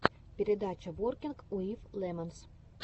передача воркинг уив лемонс